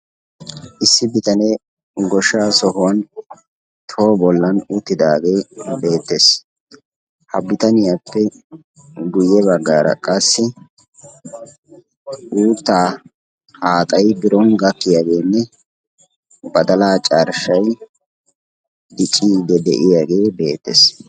Issi bitanee goshsha sohuwa toho bollan uttidaage beettees. Ha bitaniyappe guyye baggaara qassi uutta haaxxay biron gakkiyaageenne badalaa carshshay dicciidi de'iyaage beettees.